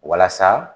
Walasa